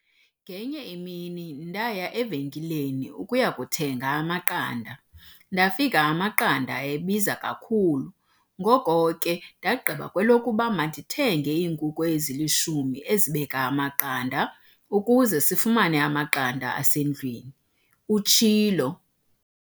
"Ngenye imini ndaya evenkileni ukuyakuthenga amaqanda ndafika amaqanda ebiza kakhulu ngoko ke ndagqiba kwelokuba mandithenge iinkukhu ezili-10 ezibeka amaqanda ukuze sifumane amaqanda asendlwini," utshilo.